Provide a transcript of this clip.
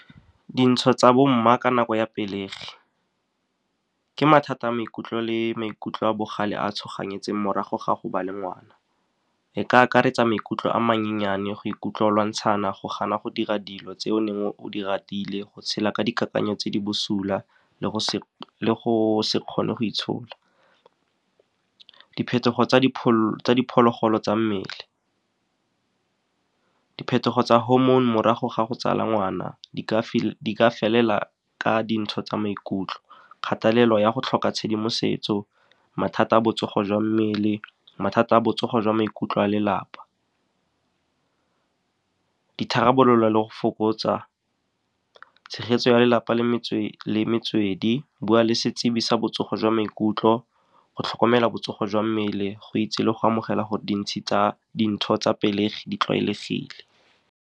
Dintsho tsa bo mma ka nako ya pelegi ke mathata a maikutlo le maikutlo a bogale a tshoganetseng morago ga go ba le ngwana. E ka akaretsa maikutlo a mannyane, go ikutlwa lwantshana, go gana go dira dilo tse o neng o di ratile, go tshela ka dikakanyo tse di bosula le go se kgone go itshola. Diphetogo tsa diphologolo tsa mmele, diphetogo tsa hormone morago ga go tsala ngwana, di ka felela ka dintsho tsa maikutlo. Kgatelelo ya go tlhoka tshedimosetso, mathata a botsogo jwa mmele, mathata a botsogo jwa maikutlo a lelapa, ditharabololo le go fokotsa tshegetso ya lelapa le metswedi. Bua le setsebi sa botsogo jwa maikutlo, go tlhokomela botsogo jwa mmele, go itse le go amogela go dintsi tsa dintho tsa pelegi di tlwaelegile.